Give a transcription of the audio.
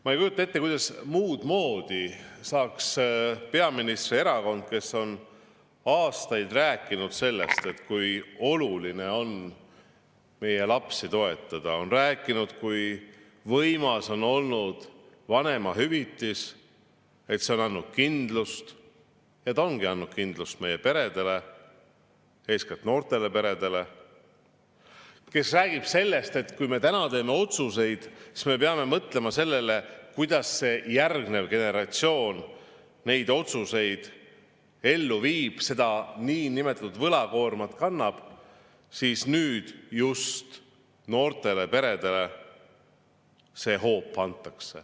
Ma ei kujuta ette, kuidas muud moodi saab peaministri erakond, kes on aastaid rääkinud sellest, kui oluline on meie lapsi toetada, kui võimas on olnud vanemahüvitis, et see on andnud kindlust – ja ta ongi andnud kindlust meie peredele, eeskätt noortele peredele –, kes räägib sellest, et kui me täna teeme otsuseid, siis me peame mõtlema sellele, kuidas järgmine generatsioon neid otsuseid ellu viib ja seda võlakoormat kannab, just noortele peredele nüüd sellise hoobi anda.